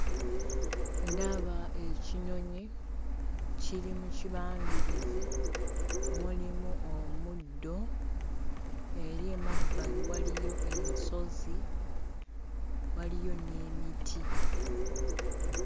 Ndaba ekinyonyi, kiri mu kibangirizi, mulimu omuddo. Eri emabbali waliyo ensozi, waliyo n'emiti.